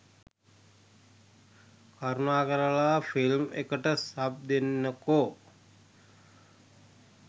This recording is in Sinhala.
කරුණාකරලා ෆිල්ම් එකට සබ් දෙන්නකෝ